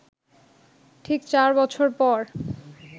ঠিক চার বছর পর